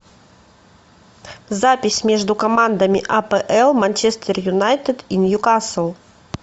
запись между командами апл манчестер юнайтед и ньюкасл